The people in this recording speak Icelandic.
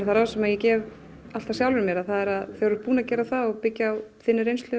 það ráð sem ég gef sjálfri mér að þegar þú ert búin að gera það og byggja á þinni reynslu